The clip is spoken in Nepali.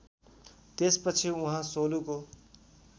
त्यसपछि उहाँ सोलुको